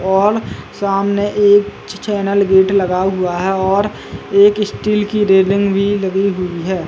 और सामने एक च् चैनल गेट लगा हुआ है और एक स्टील की रेलिंग भी लगी हुई है।